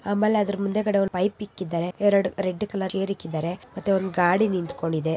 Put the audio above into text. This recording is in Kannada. ಅದರ ಮುಂದಾಗದೆ ಪೈಪ್ ಇಕ್ಕಿದರೆ ಎರಡು ರೆಡ್ ಗೇರ್ ಇಕ್ಕಿದರೇ ಗಡಿ ಇಕ್ಕಿದಾರೆ